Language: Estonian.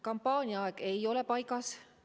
Kampaania aeg ei ole paigas.